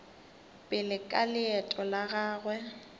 pele ka leeto la gagwe